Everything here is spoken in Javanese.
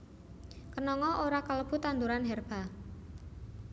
Kenanga ora kalebu tanduran herba